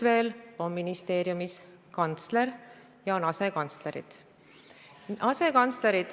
Veel on ministeeriumis kantsler ja on asekantslerid.